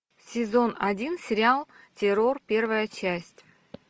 сезон один сериал террор первая часть